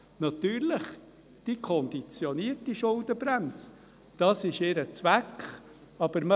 Natürlich: Die Schuldenbremse konditioniert.